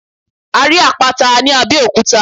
A rí Àpáta ní Abẹ́òkúta.